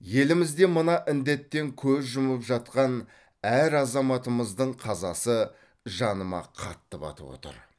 елімізде мына індеттен көз жұмып жатқан әр азаматымыздың қазасы жаныма қатты батып отыр